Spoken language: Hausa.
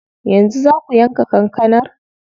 Yanzu zaa ku yanka kankanar?